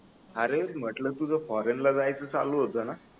अरे म्हटल तुझ फॉरेन ला जायच चालू होत ना